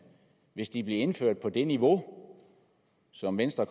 hvis de blev indført på det niveau som venstre